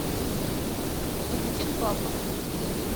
валентин павлов